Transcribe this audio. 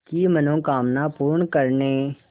की मनोकामना पूर्ण करने